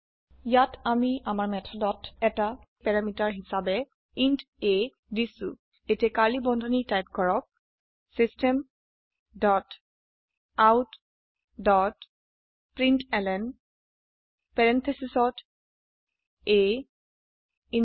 ইয়াত আমি আমাৰ মেথদত এটি প্যাৰামিটাৰ হিসোবে ইণ্ট a দিছো এতিয়া কাৰ্লী বন্ধনী টাইপ কৰক system dot out dot println parenthesesত a ইন্ত আ